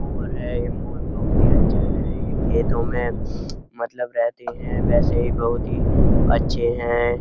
मोर है। मोर बोहोत ही अच्छा है। ये खेतो में मतलब रहते हैं। वैसे बोहोत ही अच्छे हैं।